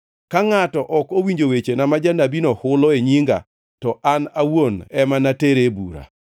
Ka ngʼato ok owinjo wechena ma janabino hulo e nyinga, to an awuon ema natere e bura.